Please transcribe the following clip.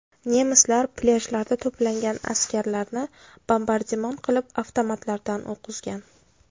Nemislar plyajlarda to‘plangan askarlarni bombardimon qilib, avtomatlardan o‘q uzgan.